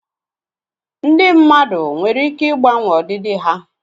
ndị mmadụ nwere ike ịgbanwe ọdịdị ha